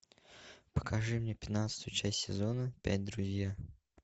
покажи мне пятнадцатую часть сезона пять друзья